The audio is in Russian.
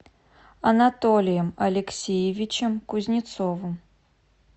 анатолием алексеевичем кузнецовым